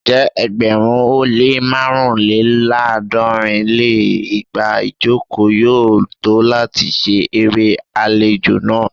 Ǹjẹ́ ẹgbẹ̀rún ó lé màrúnléláàádọ́rin lé igba ijoko yoo to lati ṣe ere alejo naa?